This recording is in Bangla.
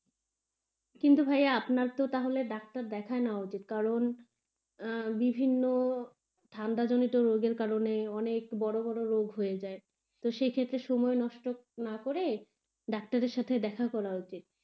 কিন্তু ভাইয়া তাহলে ত আপনার ডাক্তার দেখাই নেওয়া উচিত কারণ আহ বিভিন্ন ঠান্ডা জনিত রোগের কারণে অনেক বড় বড় রোগ হয়ে যায়. তো সেই ক্ষেত্রে সময় নষ্ট না করে ডাক্তারের সঙ্গে দেখা করা উচিত.